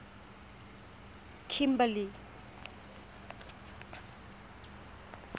kimberley